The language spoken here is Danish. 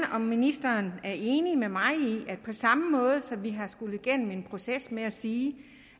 om ministeren er enig med mig i at på samme måde som vi har skullet igennem en proces i med at sige